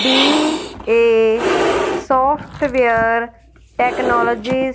B A software technology --